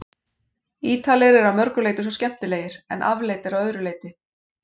Ítalir eru að mörgu leyti svo skemmtilegir- en afleitir að öðru leyti.